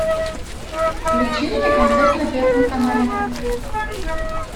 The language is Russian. включи мне концерт на первом канале